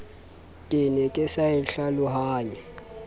ne ke sa e hlalohanye